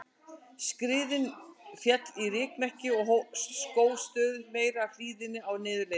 Skriðan féll í rykmekki og skóf stöðugt meira af hlíðinni á niðurleiðinni.